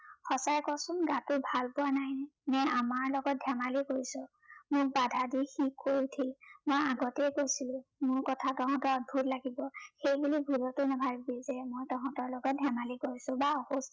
সঁচাই কচোন, গাটো ভালপোৱা নাই নে আমাৰ লগত ধেমালি কৰিছ? মোক বাধা দি সি কৈ উঠিল, মই আগতেই কৈছিলো, মোৰ কথা তহঁতৰ অদ্ভূত লাগিব। সেই বুলি ভুলতো নাভাবিবি যে মই তহঁতৰ লগত ধেমালি কৰিছো বা অসুখ